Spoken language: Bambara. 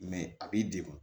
a b'i degun